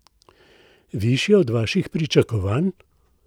Višje od vaših pričakovanj?